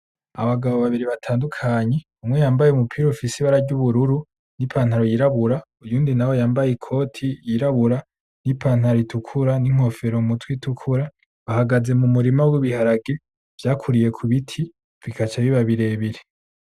Abagabo babiri batandukanye, umwe yambaye umupira ufise ibara ry'ubururu n'ipantaro yirabura uyundi nawe yambaye ikoti yirabura n'ipantaro itukura n'inkofero mu mutwe itukura bahagaze mu murima w'ibiharage vyakuriye ku biti bikaca biba birebire.